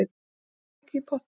Látið hvort tveggja í pottinn.